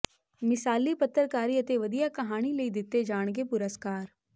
ਮਿਸਾਲੀ ਪੱਤਰਕਾਰੀ ਅਤੇ ਵਧੀਆ ਕਹਾਣੀ ਲਈ ਦਿੱਤੇ ਜਾਣਗੇ ਪੁਰਸਕਾਰ